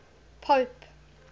pope